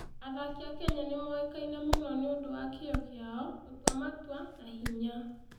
Athaki a Kenya nĩ moĩkaine mũno nĩ ũndũ wa kĩyo kĩao, gũtua matua, na hinya.